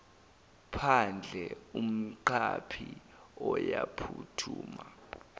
phandle umqaphi uyaphuthuma